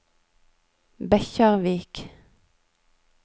Bekkjarvik